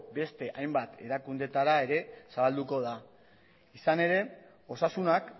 beste hainbat erakundeetara ere zabalduko da izan ere osasunak